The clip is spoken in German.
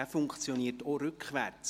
sie funktioniert auch rückwärts.